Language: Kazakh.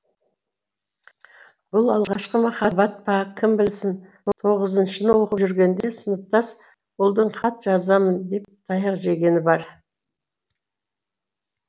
бұл алғашқы махаббат па кім білсін тоғызыншыны оқып жүргенде сыныптас ұлдың хат жазамын деп таяқ жегені бар